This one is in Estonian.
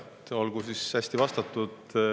Nojah, olgu siis hästi vastatud.